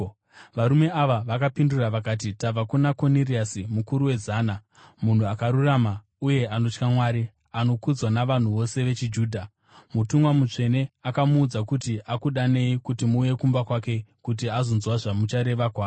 Varume vaya vakamupindura vakati, “Tabva kuna Koniriasi mukuru wezana. Munhu akarurama uye anotya Mwari, anokudzwa navanhu vose vechiJudha. Mutumwa mutsvene akamuudza kuti akudanei kuti muuye kumba kwake kuti azonzwa zvamuchareva kwaari.”